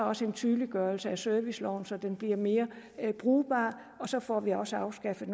også en tydeliggørelse af serviceloven så den bliver mere brugbar og så får vi også afskaffet